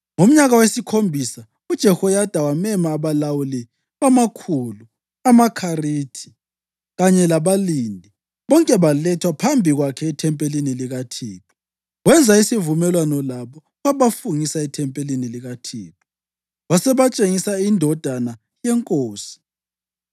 Ngomnyaka wesikhombisa uJehoyada wamema abalawuli bamakhulu, amaKharithi kanye labalindi, bonke balethwa phambi kwakhe ethempelini likaThixo. Wenza isivumelwano labo wabafungisa ethempelini likaThixo. Wasebatshengisa indodana yenkosi.